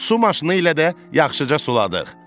Su maşını ilə də yaxşıca suladıq.